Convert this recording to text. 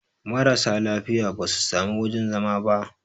marasa lafiya ba su sami wajen zama ba